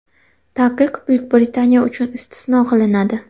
Taqiq Buyuk Britaniya uchun istisno qilinadi.